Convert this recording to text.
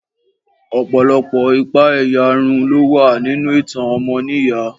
Ọ̀pọ̀lọpọ̀ ìpa-ẹ̀yà run ló ti wáyé nínú ìtàn ọmọnìyàn.